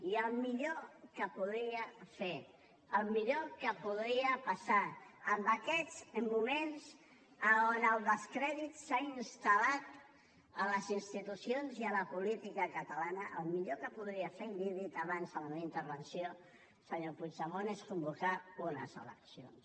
i el millor que podria passar en aquests moments on el descrèdit s’ha instal·lat a les institucions i a la política catalana el millor que podria fer i l’hi he dit abans en la meva intervenció senyor puigdemont és convocar unes eleccions